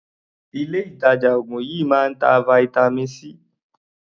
Ilé ìtàjà oògùn yìí máa ń ta vitamin C.